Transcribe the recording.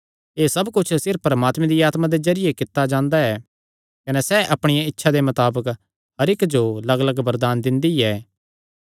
एह़ सब कुच्छ सिर्फ परमात्मे दिया आत्मा दे जरिये कित्ता जांदा ऐ कने सैह़ अपणिया इच्छा दे मताबक हर इक्क जो लग्गलग्ग वरदान दिंदी ऐ